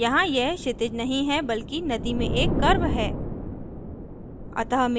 यहाँ यह क्षितिज नहीं है बल्कि नदी में एक curve है